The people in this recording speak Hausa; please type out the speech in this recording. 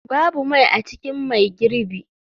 Babu mai a cikin mai girbi.